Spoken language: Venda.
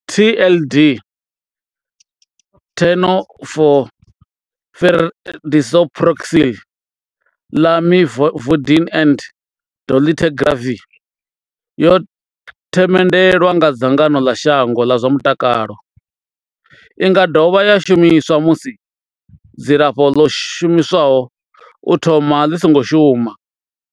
TLD, Tenofovir disoproxil, Lamivudine and dolutegravir, yo themendelwa nga dzangano ḽa shango ḽa zwa mutakalo. I nga dovha ya shumiswa musi dzilafho ḽo shumiswaho u thoma ḽi songo shuma.